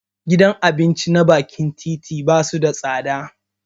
Gidan abinci na bakin titi basu da tsada